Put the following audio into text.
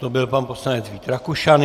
To byl pan poslanec Vít Rakušan.